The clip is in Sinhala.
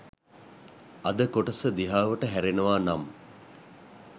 අද කොටස දිහාවට හැරෙනවා නම්